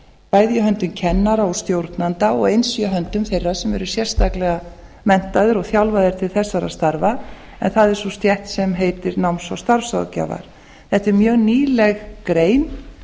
bæði í höndum kennara og stjórnenda og eins í höndum þeirra sem eru sérstaklega menntaðir og þjálfaðir til þessara starfa en það er sú stétt sem heitir starfs og námsráðgjafar eða er mjög nýleg grein